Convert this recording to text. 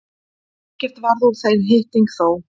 Ekkert varð úr þeim hitting þó.